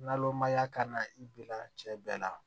Nalomaya ka na i bila cɛ bɛɛ la